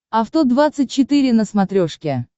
авто двадцать четыре на смотрешке